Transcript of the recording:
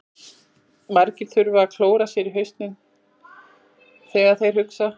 Margir þurfa að klóra sér í hausnum þegar þeir hugsa.